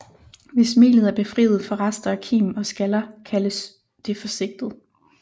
Hvis melet er befriet for rester af kim og skaller kaldes det for sigtet